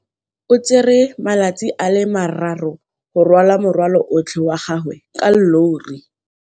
O tsere malatsi a le marraro go rwala morwalo otlhe wa gagwe ka llori.